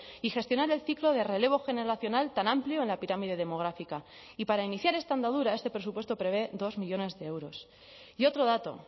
y gestionar el ciclo de relevo generacional tan amplio en la pirámide demográfica y para iniciar esta andadura este presupuesto prevé dos millónes de euros y otro dato